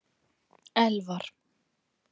Elfar